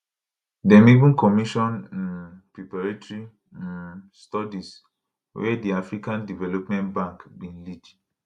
dem even commission um preparatory um studies wey di african development bank bin lead